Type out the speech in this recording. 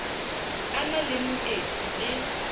a na le moetsi le